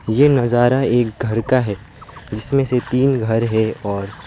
ये नजारा एक घर का है जिसमें से तीन घर है और--